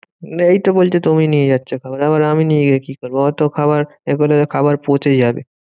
না এইতো বলছো তুমি নিয়ে যাচ্ছো খাবার আবার আমি নিয়ে গিয়ে কি করবো? অত খাবার এরপর দেখবে খাবার পচে যাবে।